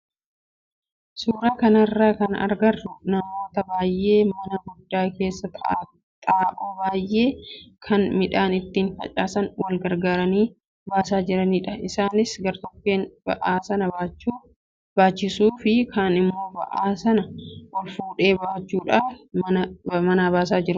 Suuraa kanarraa kan agarru namoota baay'ee mana guddaa keessaa xaa'oo biyyee kan midhaan ittiin facaasan wal gargaaranii baasaa jiranidha. Isaanis gartokkeen ba'aa sana baachisuu fi kaan immoo ba'aa sana ol fuudhee baachuudhaan manaa baasaa jiru.